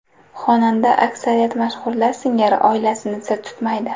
Xonanda aksariyat mashhurlar singari oilasini sir tutmaydi.